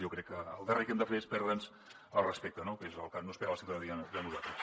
jo crec que el darrer que hem de fer és perdre’ns el respecte que és el que no espera la ciutadania de nosal tres